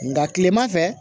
Nka kilema fɛ